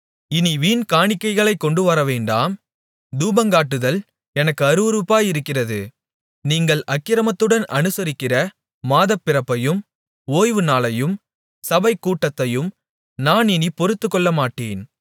இனி வீண் காணிக்கைகளைக் கொண்டுவரவேண்டாம் தூபங்காட்டுதல் எனக்கு அருவருப்பாயிருக்கிறது நீங்கள் அக்கிரமத்துடன் அனுசரிக்கிற மாதப்பிறப்பையும் ஓய்வு நாளையும் சபைக்கூட்டத்தையும் நான் இனிப் பொறுத்துக்கொள்ளமாட்டேன்